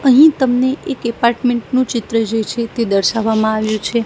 અહીં તમને એક એપાર્ટમેન્ટ નુ ચિત્ર જે છે તે દર્શાવામાં આવ્યુ છે.